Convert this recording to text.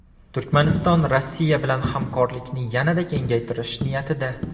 Turkmaniston Rossiya bilan hamkorlikni yanada kengaytirish niyatida.